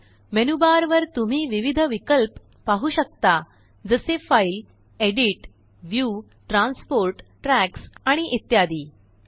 menu bar वर तुम्ही विविधविकल्प पाहू शकता जसेfile file edit edit view view transport transport tracks tracks आणि इत्यादी